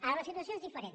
ara la situació és diferent